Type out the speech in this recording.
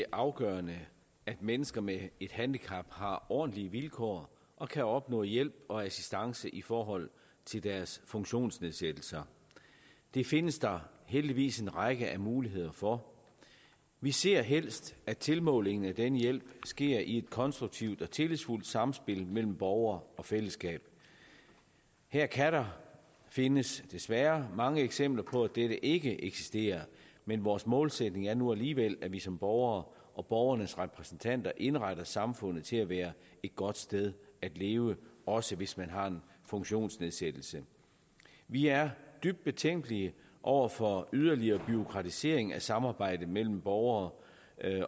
afgørende at mennesker med et handicap har ordentlige vilkår og kan opnå hjælp og assistance i forhold til deres funktionsnedsættelser det findes der heldigvis en række muligheder for vi ser helst at tilmålingen af denne hjælp sker i et konstruktivt og tillidsfuldt samspil mellem borger og fællesskab her kan der findes desværre mange eksempler på at dette ikke eksisterer men vores målsætning er nu alligevel at vi som borgere og borgernes repræsentanter indretter samfundet til at være et godt sted at leve også hvis man har en funktionsnedsættelse vi er dybt betænkelige over for yderligere bureaukratisering af samarbejdet mellem borgere